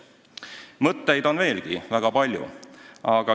Ja mõtteid on veel väga palju.